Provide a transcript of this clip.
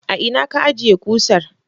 A ina ka ajjiye kusar?